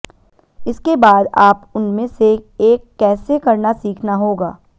इसके बाद आप उनमें से एक कैसे करना सीखना होगा